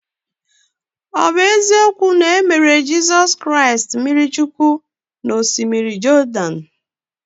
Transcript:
Ọ̀ bụ eziokwu na e mere Jizọs Kraịst baptizim n’Osimiri Jọdan?